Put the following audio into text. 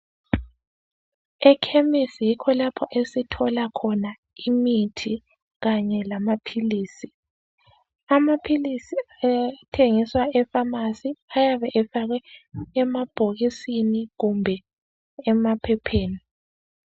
Ekhemisi yikho lapho esithola khona imithi kanye lamaphilisi. Amaphilisi athengiswa efamasi ayabe efakwe emabhokisini kumbe emaphepheni.